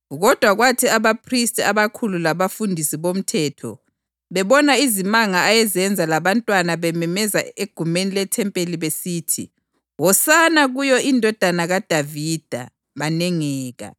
Kodwa kwathi abaphristi abakhulu labafundisi bomthetho bebona izimanga ayezenza labantwana bememeza egumeni lethempeli besithi, “Hosana kuyo iNdodana kaDavida,” banengeka.